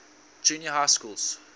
junior high schools